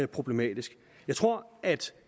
problematisk jeg tror at